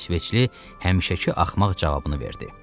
İsveçli həmişəki axmaq cavabını verdi.